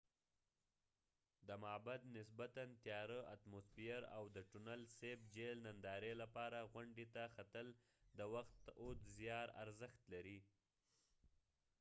د معبد نسبتا تیاره اتموسفیر او د ټونل سیپ جهیل ننداری لپاره غونډی ته ختل د وخت اود زیار ارزښت لري